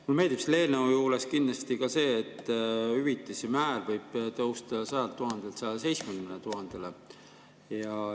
Mulle meeldib selle eelnõu juures kindlasti ka see, et hüvitise määr võib tõusta 100 000‑lt 170 000‑le.